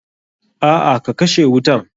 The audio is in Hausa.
A'a ka kashe wutan.